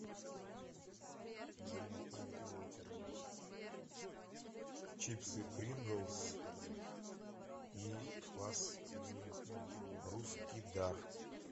чипсы принглс и квас русский дар